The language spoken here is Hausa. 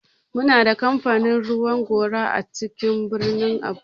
Muna da kamfanin ruwan gora a cikin birnin abuja.